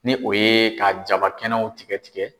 Ni o ye ka jaba kɛnɛw tigɛ tigɛ